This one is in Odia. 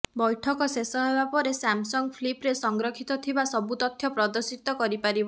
ବୈଠକ ଶେଷ ହେବା ପରେ ସାମସଙ୍ଗ ଫ୍ଲିପ୍ରେ ସଂରକ୍ଷିତ ଥିବା ସବୁ ତଥ୍ୟ ପ୍ରଦର୍ଶିତ କରିପାରିବ